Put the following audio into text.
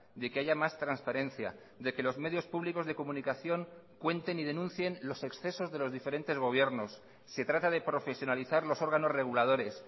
de que haya más transparencia de que los medios públicos de comunicación cuenten y denuncien los excesos de los diferentes gobiernos se trata de profesionalizar los órganos reguladores